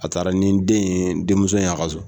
A taara ni den in ye , denmuso ye a ka so.